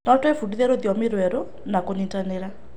No twĩbundithie rũthiomi rwerũ na kũnyitanĩra.